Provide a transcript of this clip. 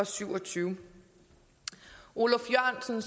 syvogtyvende oluf jørgensen